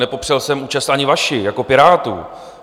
Nepopřel jsem účast ani vaši jako Pirátů.